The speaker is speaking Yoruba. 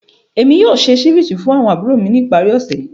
Emi yoo ṣe ceviche fun awọn aburo mi ni ipari osẹ yii.